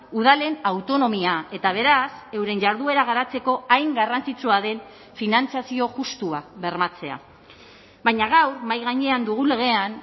udalen autonomia eta beraz euren jarduera garatzeko hain garrantzitsua den finantzazio justua bermatzea baina gaur mahai gainean dugu legean